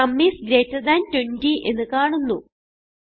sum is greater than 20 എന്ന് കാണുന്നു